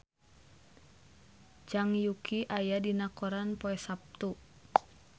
Zhang Yuqi aya dina koran poe Saptu